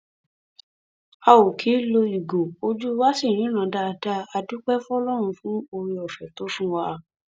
a ó kì í lo ìgò ojú wa ṣì ríran dáadáa a dúpẹ fọlọrun fún oore ọfẹ tó fún wa